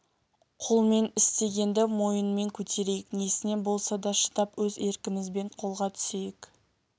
қолмен істегенді мойынмен көтерейік несіне болса да шыдап өз еркімізбен қолға түсейік